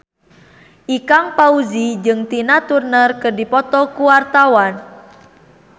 Ikang Fawzi jeung Tina Turner keur dipoto ku wartawan